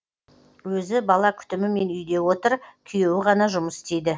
өзі бала күтімімен үйде отыр күйеуі ғана жұмыс істейді